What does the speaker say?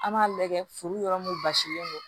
An b'a lajɛ furu yɔrɔ mun basilen don